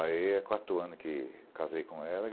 Aí é quatro anos que casei com ela.